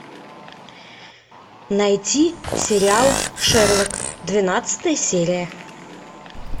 найти сериал шерлок двенадцатая серия